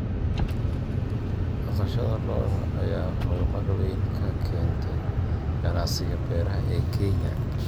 Dhaqashada lo'da lo'da ayaa horumar weyn ka keentay ganacsiga beeraha ee Kenya.